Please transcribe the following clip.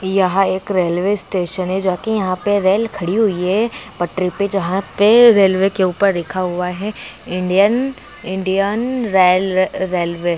यह एक railway station है जो कि यहां पे रेल खड़ी हुई है पटरी पे जहां पे रेलवे के ऊपर लिखा हुआ है इंडियन इंडियन रेल रे-रेलवे ।